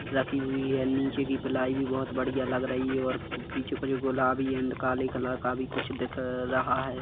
रखी हुई है निचे कि पिलाई भी बहुत बढ़िया लग रही है और पिछे कुछ गुलाबी एंड काले कलर का भी कुछ दिख रहा है।